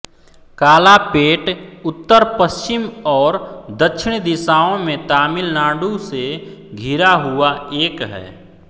कालापेट उत्तर पश्चिम और दक्षिण दिशाओं में तमिल नाडु से घिरा हुआ एक है